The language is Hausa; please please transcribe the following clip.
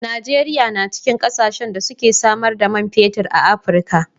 Najeriya na cikin kasashen da suke samar da man fetir a Afrika.